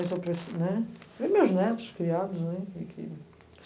né. E meus netos criados, né e que